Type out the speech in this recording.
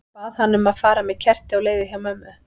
Ég bað hana um að fara með kerti á leiðið hjá mömmu.